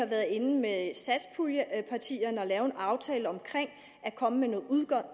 været inde at lave en aftale om at komme med noget